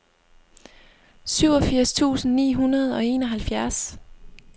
syvogfirs tusind ni hundrede og enoghalvtreds